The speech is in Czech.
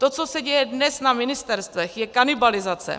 To, co se děje dnes na ministerstvech, je kanibalizace.